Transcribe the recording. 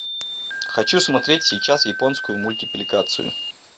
хочу смотреть сейчас японскую мультипликацию